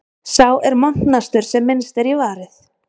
Sá er montnastur sem minnst er í varið.